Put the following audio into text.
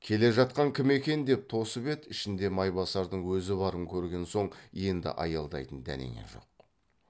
келе жатқан кім екен деп тосып еді ішінде майбасардың өзі барын көрген соң енді аялдайтын дәнеңе жоқ